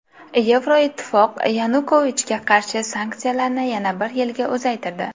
Yevroittifoq Yanukovichga qarshi sanksiyalarni yana bir yilga uzaytirdi.